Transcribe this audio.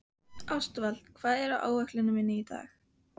Ástvald, hvað er á áætluninni minni í dag?